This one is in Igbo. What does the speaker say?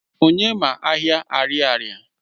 Onye ma Ahịa Ariaria?